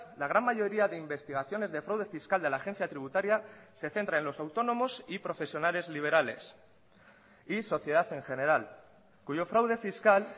la gran mayoría de investigaciones de fraude fiscal de la agencia tributaria se centra en los autónomos y profesionales liberales y sociedad en general cuyo fraude fiscal